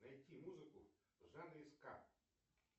найти музыку в жанре ска